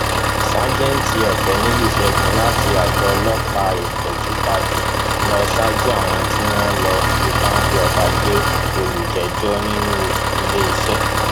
ṣàjètì ọkẹniyí ṣẹgun láti àgọ ọlọpàá ipẹtúpadu lọ ṣáájú àwọn tí wọn lọọ fi páńpẹ ọba gbé olùjẹjọ nílùú iléeṣẹ